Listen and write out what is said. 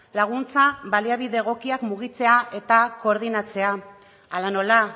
laguntza baliabide egokiak mugitzea eta koordinatzea hala nola